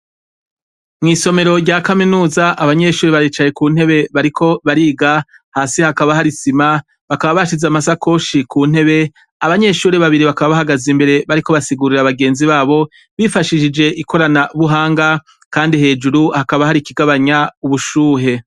Mw'isomero rya kaminiza, abanyeshure baricaye ku ntebe bariko bariga, hasi hakaba hari isima, bakaba bashize amasakoshi ku ntebe, abanyeshure babiri bakaba bahagaze imbere bariko basigurira bagenzi babo, bifashishije ikoranabuhanga, kandi hejuru hakaba hari ikigabanya ubushuhe.